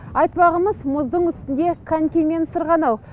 айтпағымыз мұздың үстінде конькимен сырғанау